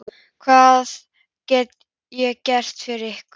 Hvað get ég gert fyrir ykkur?